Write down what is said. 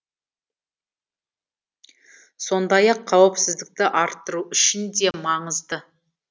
сондай ақ қауіпсіздікті арттыру үшін де маңызды